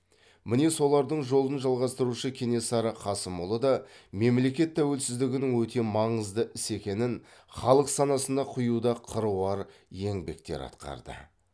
міне солардың жолын жалғастырушы кенесары қасымұлы да мемлекет тәуелсіздігінің өте маңызды іс екенін халық санасына құюда қыруар еңбектер атқарды